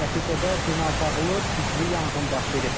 Nəticədə bina dağılıb, güclü yanğın baş verib.